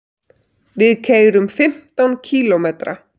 Við keyrum fimmtán kílómetra.